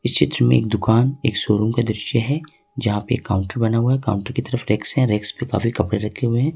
इस चित्र में एक दुकान एक शोरूम का दृश्य है जहां पे काउंटर बना हुआ है काउंटर की तरफ रैक्स है रैक्स पे काफी कपड़े रखे हुए है।